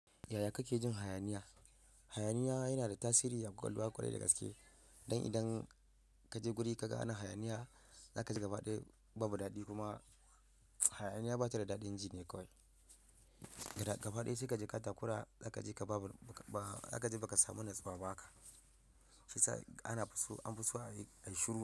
Yaya kake jin hayaniya? Hayaniya yana da tasiri a ƙwaƙwalwa ƙwarai da gaske. Don idan ka je guri ka ga ana hayaniya, za ka ji gaba ɗaya babu daɗi kuma hayaniya ba ta da daɗin ji ne kawai. Gaba ɗaya sai ka ji ka takura, za ka ji ka babu, za ka ji ba ka samu natsawa ba ka. Shi yasa an fi so a yi shiru.